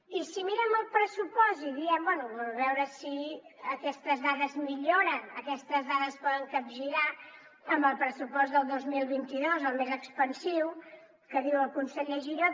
i si mirem el pressupost i diem bé a veure si aquestes dades milloren a veure si aquestes dades es poden capgirar amb el pressupost del dos mil vint dos el més expansiu que diu el conseller giró